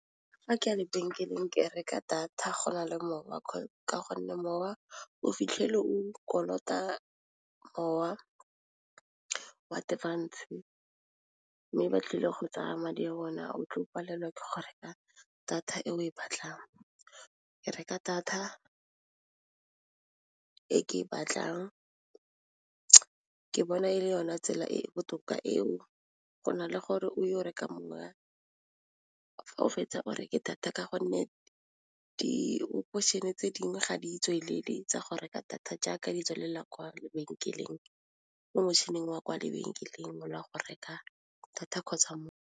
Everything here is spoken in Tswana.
Fa ke a lebenkeleng ke reka data go na le mowa ka gonne mowa o fitlhele o kolota mowa wa advance, mme ba tlile go tsaya madi a bone a o tlo palelwa ke go reka data e o e batlang ke reka data e ke e batlang ke bona e le yone tsela e e botoka eo go na le gore o yo reka moya fa o fetsa o reke data ka gonne di tse dingwe ga di tswelele tsa go reka data jaaka di tselela kwa lebenkeleng mo motšhining wa kwa lebenkeleng wa go reka data kgotsa mo.